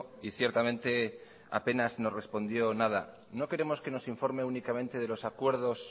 y ciertamente apenas nos respondió nada no queremos que nos informe únicamente de los acuerdos